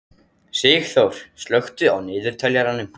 Sigþór, slökktu á niðurteljaranum.